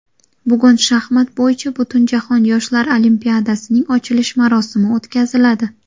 Bugun shaxmat bo‘yicha Butunjahon yoshlar olimpiadasining ochilish marosimi o‘tkaziladi.